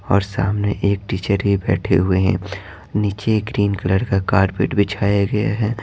और सामने एक टीचर भी बैठे हुए हैं नीचे ग्रीन कलर का कारपेट बिछाया गया है।